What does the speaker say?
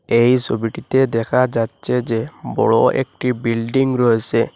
এই ছবিটিতে দেখা যাচ্ছে যে বড় একটি বিল্ডিং রয়েসে।